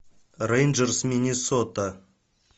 рейнджерс миннесота